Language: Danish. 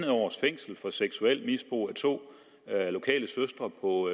års fængsel for seksuelt misbrug af to lokale søstre på